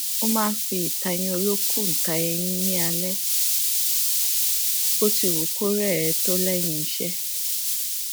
ó máa n fi ìtayín olókùn ta eyín ní alaalẹ bóti wù kó rẹ ẹ tó lẹyìn iṣẹ